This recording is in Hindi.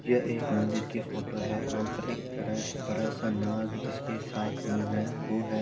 यह एक मंदिर की फोटो है वहाँ पर एक बड़ा सा नाग जिसके सात मुँह है वो हैं |